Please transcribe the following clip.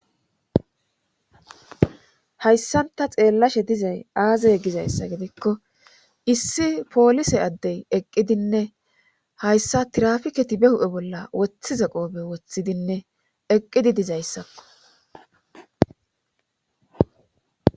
hayssanta xeellashe dizay aazey gizayssa gidikko issi poolise addey eqqidinne hayssa tirafiketi be hu7e bolla wothize qoobe woththidinne eqqidi dizayssakko